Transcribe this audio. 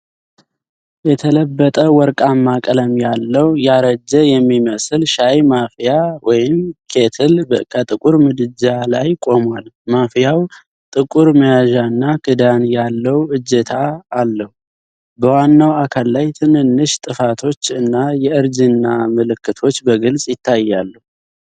የተለበጠ ወርቃማ ቀለም ያለው፣ ያረጀ የሚመስል ሻይ ማፍያ (ኬትል) ከጥቁር ምድጃ ላይ ቆሟል። ማፍያው ጥቁር መያዣና ክዳን ላይ እጀታ አለው። በዋናው አካል ላይ ትንንሽ ጥፋቶች እና የእርጅና ምልክቶች በግልጽ ይታያሉ።